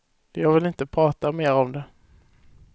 Jag vill inte prata mer om det.